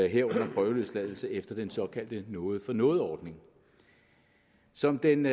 herunder prøveløsladelse efter den såkaldte noget for noget ordning som den